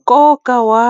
Nkoka wa